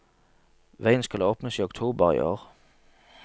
Veien skal åpnes i oktober i år.